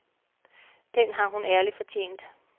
Den har hun ærligt fortjent.